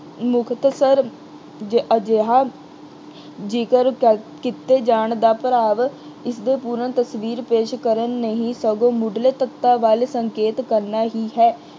ਮੁਕਤਸਰ ਜ ਅਹ ਅਜਿਹਾ ਜ਼ਿਕਰ ਕਰ ਅਹ ਕੀਤੇ ਜਾਣ ਦਾ ਭਾਵ ਇਸਦੇ ਪੂਰਨ ਤਸਵੀਰ ਪੇਸ਼ ਕਰਨ ਨਹੀਂ ਸਗੋਂ ਮੁੱਢਲੇ ਤੱਤਾਂ ਵੱਲ ਸੰਕੇਤ ਕਰਨਾ ਹੀ ਹੈ।